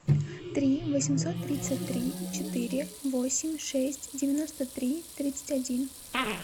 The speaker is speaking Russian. три восемьсот тридцать три четыре восемь шесть девяносто три тридцать один